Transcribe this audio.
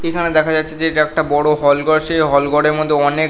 এখানে দেখা যাচ্ছে যে এটা একটা বড় হল ঘর। সে হল ঘরের মধ্যে অনেক--